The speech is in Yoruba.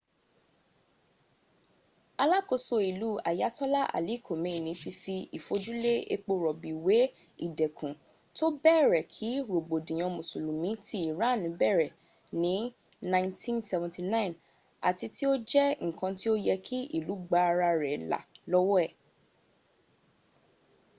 alakoso ilu ayatola ali kamneyi ti fi ifojule epo robi we idẹkun to bẹrẹ ki rogbodiyan musulumi ti irani bẹrẹ ni 1979 ati ti o jẹ nkan ti o yẹ ki ilu gba ara rẹ la lọwọ e